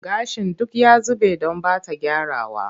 Gashin duk ya zube don ba ta gyrawa.